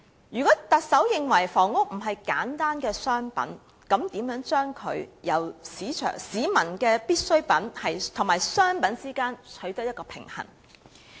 如果特首認為房屋並非簡單的商品，那麼，應如何在市民的必需品與商品之間取得平衡？